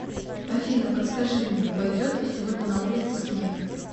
афина подскажи мне пойдет ли сегодня на улице снег